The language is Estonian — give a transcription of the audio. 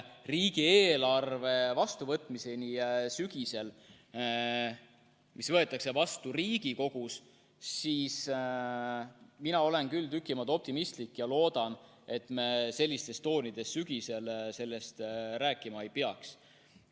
Riigieelarve vastuvõtmise suhtes sügisel, see võetakse vastu Riigikogus, olen mina küll tüki maad optimistlikum ja loodan, et me sellistes toonides sügisel sellest rääkima ei peaks.